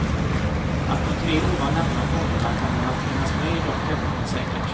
Att de tre ovan nämnda fonderna kommer att finnas med är dock tämligen säkert.